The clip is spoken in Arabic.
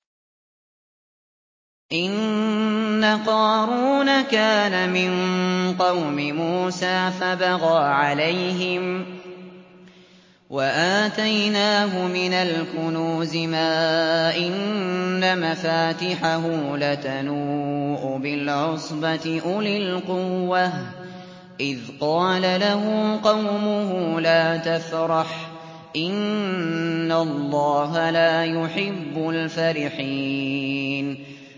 ۞ إِنَّ قَارُونَ كَانَ مِن قَوْمِ مُوسَىٰ فَبَغَىٰ عَلَيْهِمْ ۖ وَآتَيْنَاهُ مِنَ الْكُنُوزِ مَا إِنَّ مَفَاتِحَهُ لَتَنُوءُ بِالْعُصْبَةِ أُولِي الْقُوَّةِ إِذْ قَالَ لَهُ قَوْمُهُ لَا تَفْرَحْ ۖ إِنَّ اللَّهَ لَا يُحِبُّ الْفَرِحِينَ